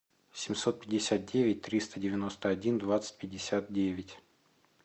семьсот пятьдесят девять триста девяносто один двадцать пятьдесят девять